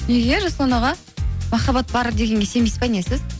неге жасұлан аға махаббат бар дегенге сенбейсіз бе не сіз